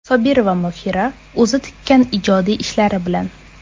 Sobirova Mohira o‘zi tikkan ijodiy ishlari bilan.